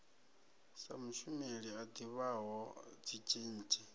sa mushumeli a ḓivhaho zwithithisi